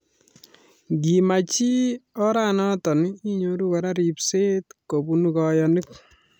Ngi imach chii oranatak inyoruu koraa repset kobun kanyaik